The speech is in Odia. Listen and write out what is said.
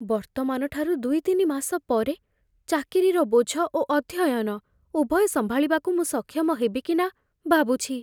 ବର୍ତ୍ତମାନଠାରୁ ଦୁଇ ତିନି ମାସ ପରେ, ଚାକିରିର ବୋଝ ଓ ଅଧ୍ୟୟନ, ଉଭୟ ସମ୍ଭାଳିବାକୁ ମୁଁ ସକ୍ଷମ ହେବି କି ନା ଭାବୁଛି।